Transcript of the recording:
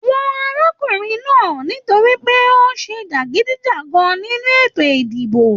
Wọn arákùnrin náà nítorí pé ó ṣe jagidijagan nínú ètò ìdìbò.